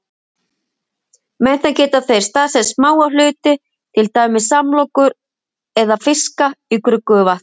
Með þeim geta þeir staðsett smáa hluti, til dæmis samlokur eða fiska, í gruggugu vatni.